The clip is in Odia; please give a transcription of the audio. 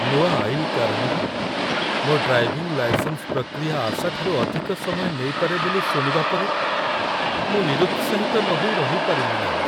ନୂଆ ଆଇନ କାରଣରୁ, ମୋ ଡ୍ରାଇଭିଂ ଲାଇସେନ୍ସ ପ୍ରକ୍ରିୟା ଆଶାଠାରୁ ଅଧିକ ସମୟ ନେଇପାରେ ବୋଲି ଶୁଣିବା ପରେ, ମୁଁ ନିରୁତ୍ସାହିତ ନହୋଇ ରହିପାରିଲିନାହିଁ।